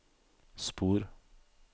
spor